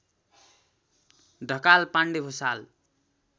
Dhakal Pande Bhusal